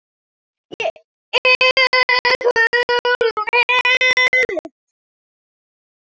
Er Hugrún við?